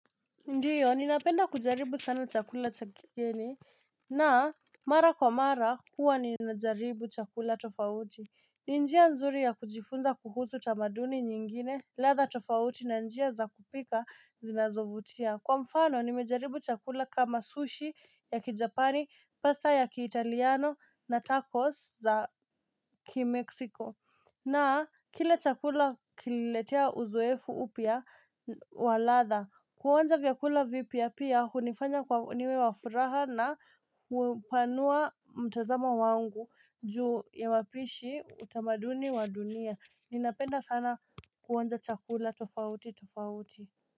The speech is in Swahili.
Ndiyo, ninapenda kujaribu sana chakula chakigeni, na mara kwa mara huwa ninajaribu chakula tofauti. Ninjia nzuri ya kujifunza kuhusu tamaduni nyingine, ladha tofauti na njia za kupika zinazovutia. Kwa mfano, nimejaribu chakula kama sushi ya kijapani, pasta ya kiitaliano na tacos za ki-Mexico. Na, kila chakula kililetea uzoefu upya waladha, kuonja vyakula vipia pia, hunifanya kuwa niwe wafuraha na hupanua mtazamo wangu, juu ya wapishi utamaduni wa dunia, ninapenda sana kuonja chakula tofauti tofauti.